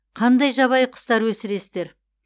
қандай жабайы құстар өсіресіздер